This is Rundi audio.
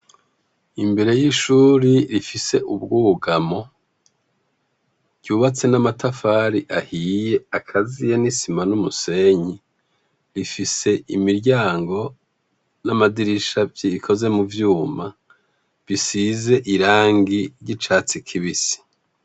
Imbere y'ishuri rifise ubwugamo ryubatse n'amatafari ahiye akaziye n'isima n'umusenyi. Rifise imiryango n'amadirisha bikoze mu vyuma bisize irangi ry'icatsi kibisi.